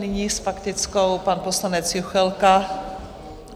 Nyní s faktickou pan poslanec Juchelka.